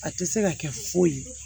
A tɛ se ka kɛ foyi ye